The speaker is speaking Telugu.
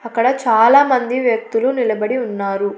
అక్కడ చాలామంది వ్యక్తులు నిలబడి ఉన్నారు.